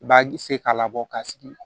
I b'a se k'a labɔ ka sigi